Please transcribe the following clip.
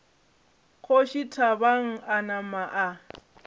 kgoši thabang a napa a